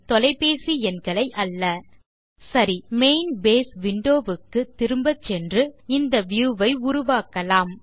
தொலைபேசி எண்களை அல்ல சரி மெயின் பேஸ் விண்டோ க்கு திரும்ப சென்று இந்த வியூ ஐ உருவாக்கலாம்